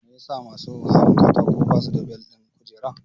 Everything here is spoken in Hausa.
Me yasa masu hawan katako ba su da bel ɗin kujera?